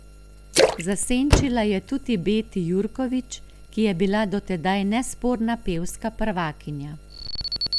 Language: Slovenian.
Zasenčila je tudi Beti Jurkovič, ki je bila do tedaj nesporna pevska prvakinja.